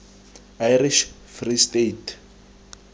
irish free state